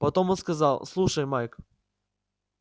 потом он сказал слушай майк